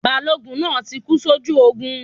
Balógun náà tí kú sójú ogun